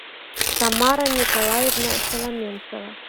тамара николаевна шаломенцева